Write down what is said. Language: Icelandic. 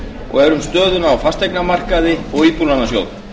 og er um stöðuna á fasteignamarkaði og íbúðalánasjóð